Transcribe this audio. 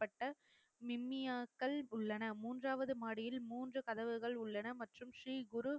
பட்ட உள்ளன மூன்றாவது மாடியில் மூன்று கதவுகள் உள்ளன மற்றும் ஸ்ரீகுரு